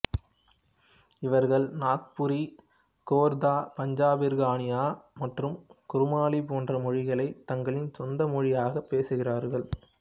இவர்கள் நாக்புரி கோர்தா பஞ்ச்பர்கானியா மற்றும் குருமாலி போன்ற மொழிகளை தங்களின் சொந்த மொழியாகப் பேசுகிறார்கள்